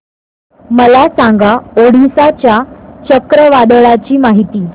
मला सांगा ओडिशा च्या चक्रीवादळाची माहिती